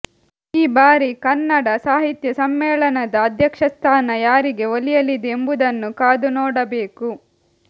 ಈ ಬಾರಿ ಕನ್ನಡ ಸಾಹಿತ್ಯ ಸಮ್ಮೇಳನದ ಅಧ್ಯಕ್ಷಸ್ಥಾನ ಯಾರಿಗೆ ಒಲಿಯಲಿದೆ ಎಂಬುದನ್ನು ಕಾದುನೋಡಬೇಕು